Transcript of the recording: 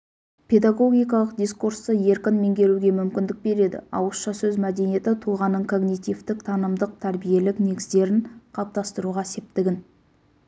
педагогикалық дискурсты еркін меңгеруге мүмкіндік береді ауызша сөз мәдениеті тұлғаның когнитивтік-танымдық тәрбиелік негіздерін қалыптастыруға септігін